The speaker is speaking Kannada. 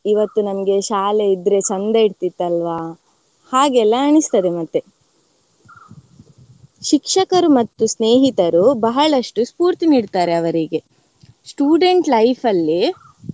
ಇವತ್ತು ನಮ್ಗೆ ಶಾಲೆ ಇದ್ರೆ ಚಂದ ಇರ್ತಿತತಲ್ವಾ ಹಾಗೆಲ್ಲಾ ಅನಿಸ್ತದೆ ಮತ್ತೆ. ಶಿಕ್ಷಕರು ಮತ್ತು ಸ್ನೇಹಿತರು ಬಹಳಷ್ಟು ಸ್ಪೂರ್ತಿ ನೀಡ್ತಾರೆ ಅವರಿಗೆ student life ಅಲ್ಲಿ